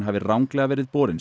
hafi ranglega verið borinn